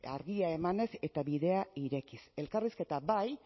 argia emanez eta bidea irekiz elkarrizketa bai